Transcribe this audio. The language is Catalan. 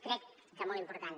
crec que és molt important